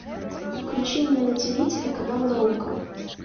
включи мне на тв телеканал наука